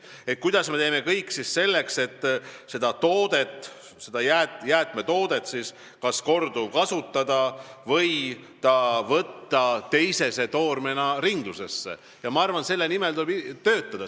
Selle nimel, et teha kõik selleks, et jäätmetoodet kas korduvkasutada või võtta ta teisese toormena ringlusesse, ma arvan, tuleb töötada.